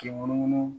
K'i munumunu